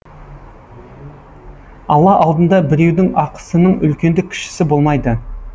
алла алдында біреудің ақысының үлкенді кішісі болмайды